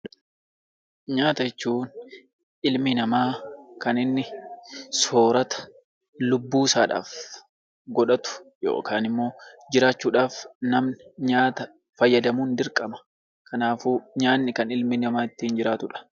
Nyaata jechuun ilmi namaa kan inni soorata lubbuusaadhaaf godhatu yookaan immoo jiraachuudhaaf namni nyaata fayyadamuun dirqama. Kanaafuu nyaatni kan ilmi namaa ittiin jiraatudha.